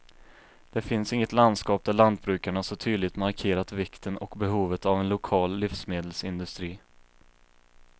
Det finns inget landskap där lantbrukarna så tydligt markerat vikten och behovet av en lokal livsmedelsindustri.